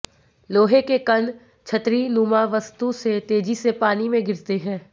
लोहे के कण छतरीनुमा वस्तु से तेजी से पानी में गिरते है